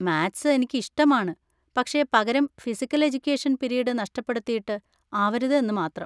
Maths എനിക്ക് ഇഷ്ടമാണ്, പക്ഷെ പകരം physical education (P. T) period നഷ്ടപ്പെടുത്തിയിട്ട് ആവരുത് എന്ന് മാത്രം.